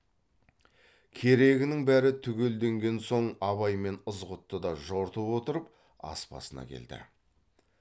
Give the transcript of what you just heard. керегінің бәрі түгелденген соң абай мен ызғұтты да жортып отырып ас басына келді